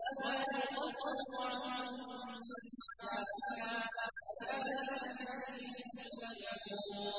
وَلَا يُخَفَّفُ عَنْهُم مِّنْ عَذَابِهَا ۚ كَذَٰلِكَ نَجْزِي كُلَّ كَفُورٍ